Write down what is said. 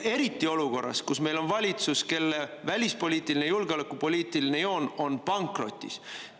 Eriti olukorras, kus meil on valitsus, kelle välispoliitiline ja julgeolekupoliitiline joon on pankrotis.